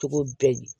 Togo bɛɛ